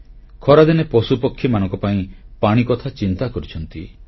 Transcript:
ଖରାଦିନେ ପଶୁପକ୍ଷୀମାନଙ୍କ ପାଇଁ ପାଣି କଥା ଚିନ୍ତା କରିଛନ୍ତି